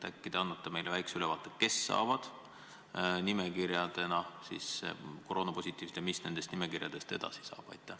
Äkki te annate meile väikse ülevaate, kes saavad koroonapositiivsete nimekirjad ja mis nendest nimekirjadest edasi saab.